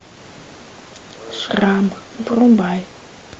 шрам врубай